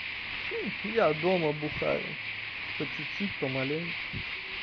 я дома бухаю по чуть-чуть помаленьку